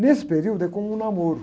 Nesse período, é como um namoro.